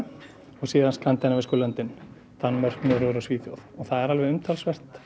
og síðan skandinavísku löndin Danmörk Noregur og Svíþjóð og það er alveg umtalsvert